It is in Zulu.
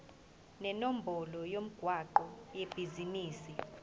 nenombolo yomgwaqo webhizinisi